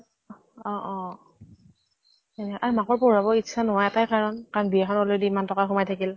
অ অহ অহ সেয়ে আৰু মাকৰ পঢ়োৱাবৰ ইচ্ছা নোহোৱা এটা কাৰণ, কাৰণ বিয়া খন already ইমান টকা সোমাই থাকিল